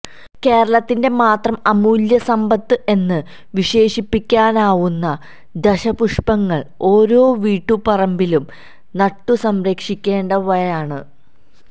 കേരളത്തിന്റെ മാത്രം അമൂല്യസമ്പത്ത് എന്ന് വിശേഷിപ്പിക്കാവുന്ന ദശപുഷ്പങ്ങള് ഓരോ വീട്ടുപറമ്പിലും നട്ടുസംരക്ഷിക്കേണ്ടവയാണ